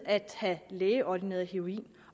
at have lægeordineret heroin